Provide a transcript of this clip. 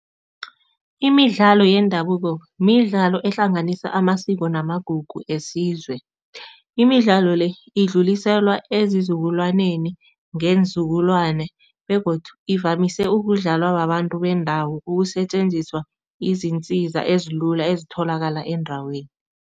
Imidlalo yendabuko midlalo ehlanganisa amasiko namagugu esizwe. Imidlalo le idluliselwa ezizukulwaneni ngeenzukulwane begodu ivamise ukudlalwa babantu bendawo ukusetjenziswa izintsiza ezilula ezitholakala endaweni.